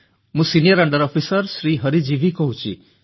ମୁଁ senior under officer Shri Hari G V କହୁଛି